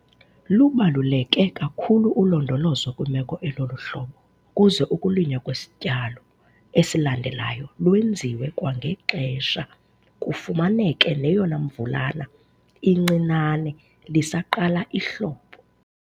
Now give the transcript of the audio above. Lubaluleke kakhulu ulondolozo kwimeko elolu hlobo ukuze ukulinywa kwesityalo esilandelayo lwenziwe kwangexesha kufumaneke neyona mvulana incinane lisaqala ihlobo.